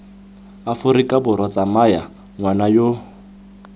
aforika borwa tsaya ngwana yo